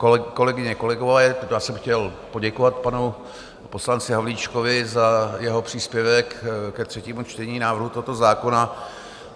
Kolegyně, kolegové, já jsem chtěl poděkovat panu poslanci Havlíčkovi za jeho příspěvek ke třetímu čtení návrhu tohoto zákona.